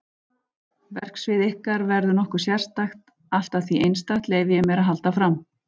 Verksvið ykkar verður nokkuð sérstakt allt að því einstakt, leyfi ég mér að halda fram.